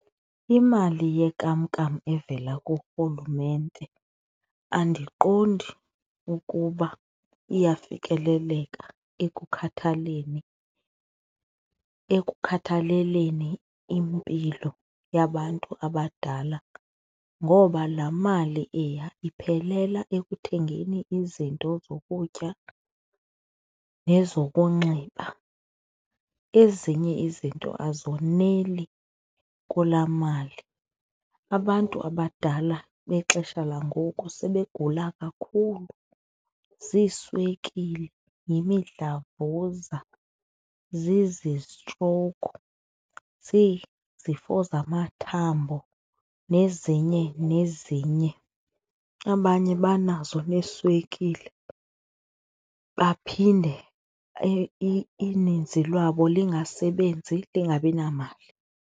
Imali yenkamnkam evela kurhulumente andiqondi ukuba iyafikeleleka ekukhathaleni, ekukhathaleleni impilo yabantu abadala ngoba laa mali eya iphelela ekuthengeni izinto zokutya nezokunxiba, ezinye izinto azoneli kulaa mali. Abantu abadala bexesha langoku sebegula kakhulu ziiswekile, yimidlavuza, zizi-stroke, zizifo zamathambo nezinye nezinye, abanye banazo neeswekile baphinde ininzi lwabo lingasebenzi, lingabi namali.